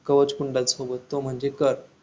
कवच कुंडल सोबत तो म्हणजे कर्ण